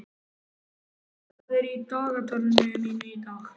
Tolli, hvað er í dagatalinu mínu í dag?